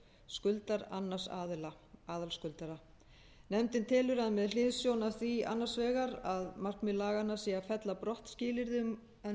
skuldar annars aðila nefndin telur að með hliðsjón af því annars vegar að markmið laganna sé að fella brott skilyrðið um að nauðsynlegt